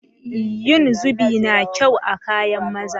Yin zubi na kyau a kayan maza